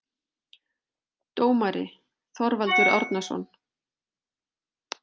Dómari: Þorvaldur Árnason